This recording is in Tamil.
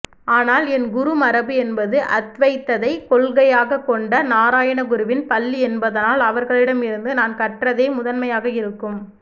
ஆனால் என் குருமரபு என்பது அத்வைதத்தை கொள்கையாகக்கொண்ட நாராயணகுருவின் பள்ளி என்பதனால் அவர்களிடமிருந்து நான் கற்றதே முதன்மையாக இருக்கும்